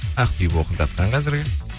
ақбибі оқып жатқан қазіргі